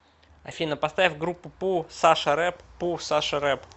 афина поставь группу пу саша рэп п у саша рэп